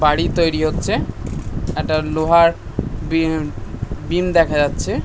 বাড়ি তৈরি হচ্ছে একটা লোহার বিন বিম দেখা যাচ্ছে ।